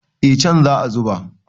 eh an za a zuba